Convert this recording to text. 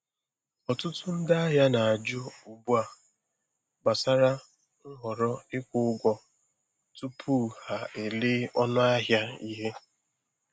Ọtụtụ ndị ahịa na-ajụ ugbu a gbasara nhọrọ ịkwụ ụgwọ tupu ha elee ọnụ ahịa ihe.